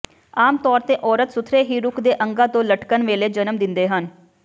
ਆਮ ਤੌਰ ਤੇ ਔਰਤ ਸੁਥਰੇ ਵੀ ਰੁੱਖ ਦੇ ਅੰਗਾਂ ਤੋਂ ਲਟਕਣ ਵੇਲੇ ਜਨਮ ਦਿੰਦੇ ਹਨ